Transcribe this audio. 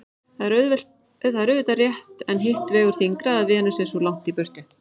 Það er auðvitað rétt en hitt vegur þyngra að Venus er svo langt í burtu.